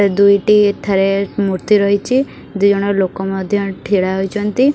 ଦୁଇଟି ଏଠାରେ ମୂର୍ତ୍ତି ରହିଚି। ଦିଜଣ ଲୋକ ମଧ୍ୟ ଏଠି ଠିଡ଼ା ହୋଇଚନ୍ତି।